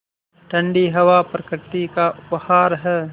ठण्डी हवा प्रकृति का उपहार है